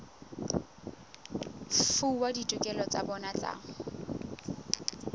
fuwa ditokelo tsa bona tsa